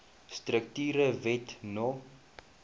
strukture wet no